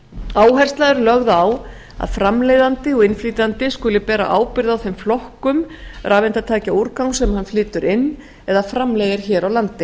áhersla er lögð á að framleiðandi og innflytjandi skuli bera ábyrgð á þeim flokkum rafeindatækjaúrgangs sem hann flytur inn eða framleiðir hér á landi